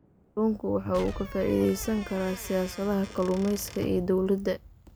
Kalluunku waxa uu ka faa'iidaysan karaa siyaasadaha kalluumaysiga ee dawladda.